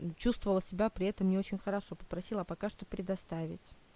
чувствовала себя при этом не очень хорошо попросила пока что предоставить